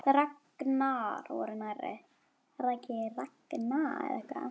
Ragnar voru nærri.